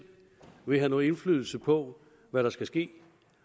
vil have nogen indflydelse på hvad der skal ske